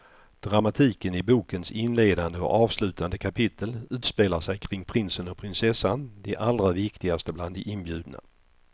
Dramatiken i bokens inledande och avslutande kapitel utspelar sig kring prinsen och prinsessan, de allra viktigaste bland de inbjudna.